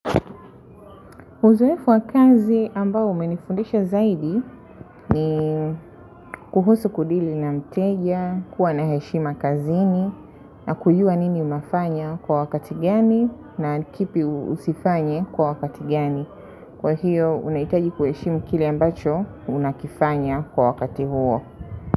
Uzoefu wa kazi ambao umenifundisha zaidi ni kuhusu kudili na mteja, kuwa na heshima kazini, na kujua nini unafanya kwa wakati gani na kipi usifanye kwa wakati gani. Kwa hiyo, unahitaji kuheshimu kile ambacho unakifanya kwa wakati huo.